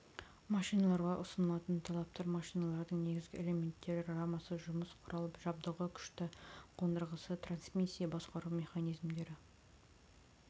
машиналарға ұсынылатын талаптар машиналардың негізгі элементтері рамасы жұмыс құрал жабдығы күшті қондырғысы трансмиссия басқару механизмдері